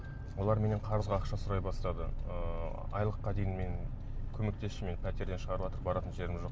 олар менен қарызға ақша сұрай бастады ыыы айлыққа дейін мен көмектесші мені пәтерден шығарыватыр баратын жерім жоқ